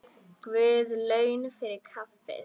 Guð laun fyrir kaffið.